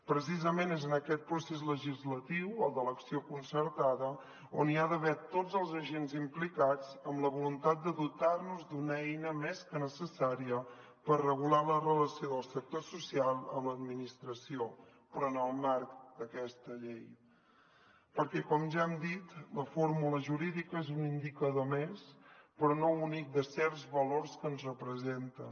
precisament és en aquest procés legislatiu el de l’acció concertada on hi ha d’haver tots els agents implicats amb la voluntat de dotar nos d’una eina més que necessària per regular la relació del sector social amb l’administració però en el marc d’aquesta llei perquè com ja hem dit la fórmula jurídica és un indicador més però no únic de certs valors que ens representen